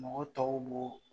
Mɔgɔ tɔw b'o